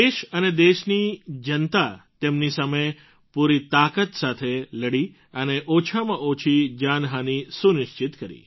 દેશ અને દેશની જનતા તેમની સામે પૂરી તાકાત સાથે લડી અને ઓછામાં ઓછી જાનહાનિ સુનિશ્ચિત કરી